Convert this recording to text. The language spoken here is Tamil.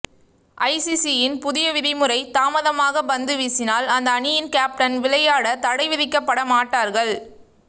ஐசிசியின் புதிய விதிமுறைதாமதாக பந்துவீசினால் அந்த அணியின் கேப்டன் விளையாட தடைவிதிக்கபட மாட்டார்கள்